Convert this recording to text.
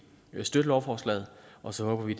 støtte lovforslaget og så håber vi